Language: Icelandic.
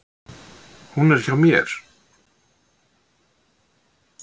Hún er hjá mér.